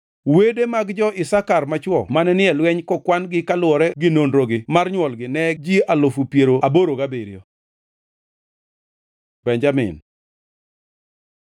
Wede mag jo-Isakar machwo mane ni e lweny kokwan-gi kaluwore gi nonrogi mar nywolgi ne ji alufu piero aboro gabiriyo (87,000). Benjamin